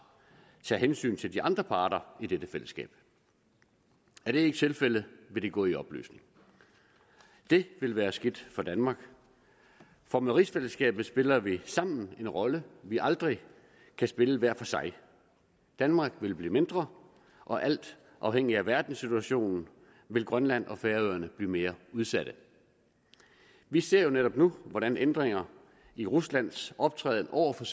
tager hensyn til de andre parter i dette fællesskab er det ikke tilfældet vil det gå i opløsning det vil være skidt for danmark for med rigsfællesskabet spiller vi sammen en rolle vi aldrig kan spille hver for sig danmark vil blive mindre og alt afhængigt af verdenssituationen vil grønland og færøerne blive mere udsatte vi ser jo netop nu hvordan ændringer i ruslands optræden over for